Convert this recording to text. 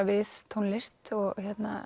við tónlist og